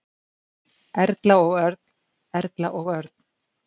Erla og Örn. Erla og Örn.